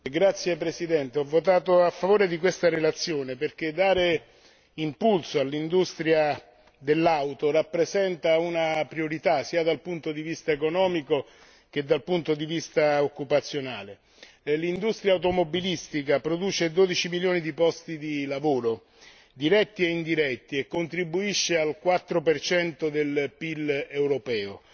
Signor Presidente, onorevoli colleghi, ho votato a favore di questa relazione perché dare impulso all'industria dell'automobile rappresenta una priorità sia dal punto di vista economico sia dal punto di vista occupazionale. L'industria automobilistica produce 12 milioni di posti di lavoro, diretti e indiretti, e contribuisce al 4 per cento del PIL europeo,